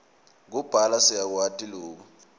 kubhala siyakwati loku